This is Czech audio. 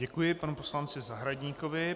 Děkuji panu poslanci Zahradníkovi.